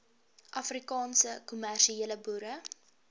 afrikaanse kommersiële boere